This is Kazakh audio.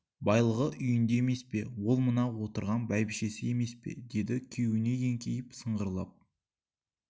байлығы үйінде емес пе ол мына отырған бәйбішесі емес пе деді күйеуіне еңкейіп сыңғырлап